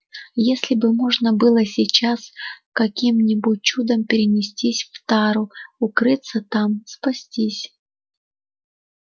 если бы можно было сейчас каким-нибудь чудом перенестись в тару укрыться там спастись